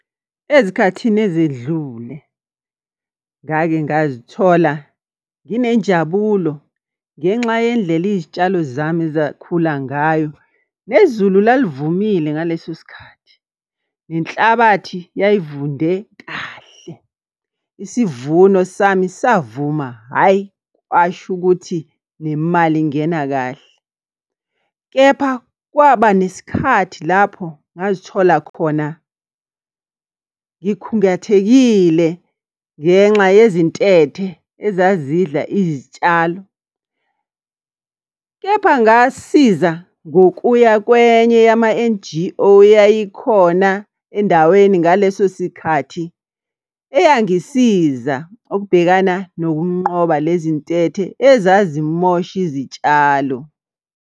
Ezikhathini ezedlule, ngake ngazithola, nginenjabulo ngenxa yendlela izitshalo zami ezakhula ngayo, nezulu lalivumile ngaleso sikhathi, nenhlabathi yayivunde kahle. Isivuno sami savuma, hhayi, kwasho ukuthi nemali ingena kahle. Kepha kwaba nesikhathi lapho ngazithola khona ngikhungathekile ngenxa yezintethe ezazidla izitshalo. Kepha ngasiza ngokuya kwenye yama-N_G_O eyayi khona endaweni ngaleso sikhathi. Eyangisiza ukubhekana nokunqoba lezi ntethe ezazimosha izitshalo.